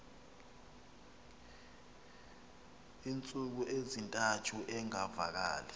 iintsuku ezintathu engavakali